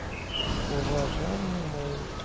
уважаемые мои